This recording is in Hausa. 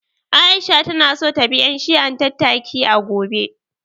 Aisha ta na so ta bi ƴan shi'an tattaki, a gobe